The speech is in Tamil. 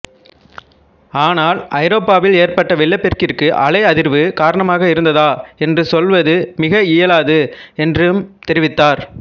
ஆனால் ஐரோப்பாவில் ஏற்பட்ட வெள்ளப்பெருக்கிற்கு அலை அதிர்வு காரணமாக இருந்ததா என்று சொல்வது மிக இயலாது என்றும் தெரிவித்தார்